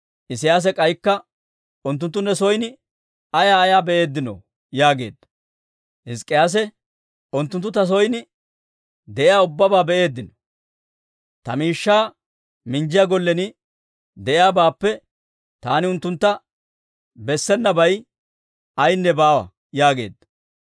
Isiyaasi k'aykka, «Unttunttu ne son ayaa ayaa be'eeddino?» yaageedda. Hizk'k'iyaase, «Unttunttu ta son de'iyaa ubbabaa be'eeddino; ta miishshaa minjjiyaa gollen de'iyaabaappe taani unttuntta bessabeennabay ayaynne baawa» yaageedda.